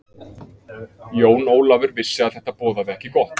Jón Ólafur vissi að þetta boðaði ekki gott.